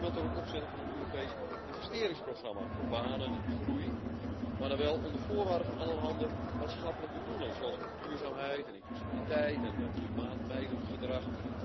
Bijvoorbeeld door het opzetten van een Europees investeringsprogramma voor banen en groei, maar dan wel onder voorwaarde van allerhande maatschappelijke doelen, zoals duurzaamheid en inclusiviteit en klimaat mijdend gedrag.